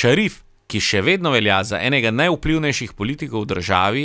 Šarif, ki še vedno velja za enega najvplivnejših politikov v državi,